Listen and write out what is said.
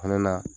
O fɛnɛ na